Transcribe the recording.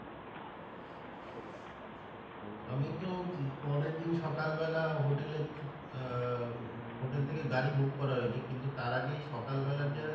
আমি তো পরের দিন সকাল বেলা hotel এ থি আহ hotel থেকে গাড়ি book করা হয়েছে কিন্তু তার আগে সকাল বেলা যে